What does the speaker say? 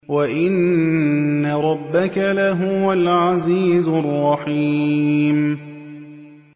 وَإِنَّ رَبَّكَ لَهُوَ الْعَزِيزُ الرَّحِيمُ